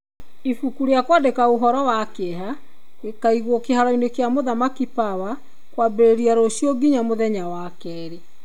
Ibuku rĩa kũandĩka ũhoro wa kĩeha gĩkaigwo kĩharo-inĩ gĩa mũthamaki power kwambereria rũcio nginya mũthenya wa keerĩ.